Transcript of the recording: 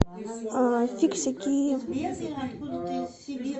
фиксики